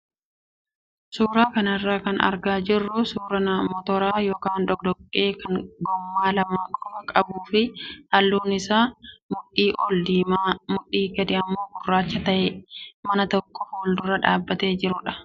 Suuraa kanarraa kan argaa jirru suuraa motora yookaan doqdoqqee kan gommaa lama qofaa qabuu fi halluun isaa mudhii olii diimaa mudhii gadi immoo gurraacha ta'ee mana tokko fuuldura dhaabatee jirudha.